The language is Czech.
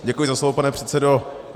Děkuji za slovo, pane předsedo.